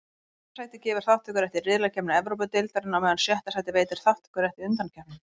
Fimmta sætið gefur þátttökurétt í riðlakeppni Evrópudeildarinnar, á meðan sjötta sætið veitir þátttökurétt í undankeppninni.